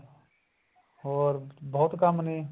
ਹੋਰ ਬਹੁਤ ਕੰਮ ਨੇ